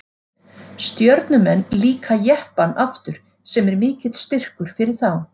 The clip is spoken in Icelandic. Stjörnumenn líka Jeppann aftur sem er mikill styrkur fyrir þá.